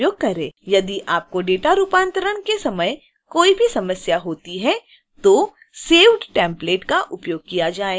यदि आपको डेटा रूपांतरण के समय कोई भी समस्या होती है तो saved template का उपयोग किया जाएगा